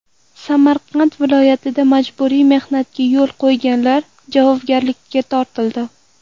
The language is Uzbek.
Samarqand viloyatida majburiy mehnatga yo‘l qo‘yganlar javobgarlikka tortildi.